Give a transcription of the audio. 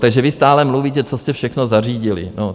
Takže vy stále mluvíte, co jste všechno zařídili.